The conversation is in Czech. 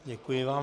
Děkuji vám.